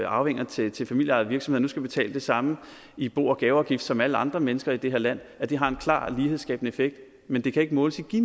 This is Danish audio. arvinger til til familieejede virksomheder nu skal betale det samme i bo og gaveafgift som alle andre mennesker i det her land har en klar lighedsskabende effekt men det kan ikke måles i